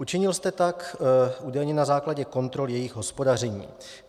Učinil jste tak údajně na základě kontrol jejich hospodaření.